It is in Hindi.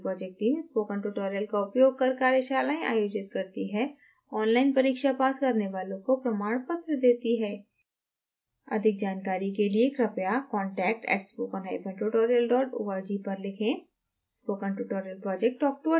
spoken tutorial project teamspoken tutorial का उपयोग कर कार्यशालाएं आयोजित करती है ऑनलाइन परीक्षा पास करने वालों को प्रमाण पत्र देती है